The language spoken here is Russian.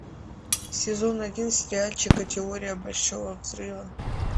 сезон один сериальчика теория большого взрыва